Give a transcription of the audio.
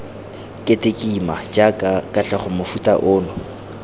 ketekima jaaka katlego mofuta ono